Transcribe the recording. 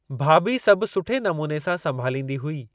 भाभी सभु सुठे नमूने सां संभालींदी हुई।